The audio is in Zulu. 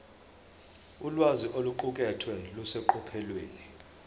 ulwazi oluqukethwe luseqophelweni